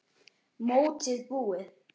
Mótið búið?